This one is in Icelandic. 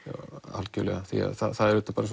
algjörlega því að það er auðvitað bara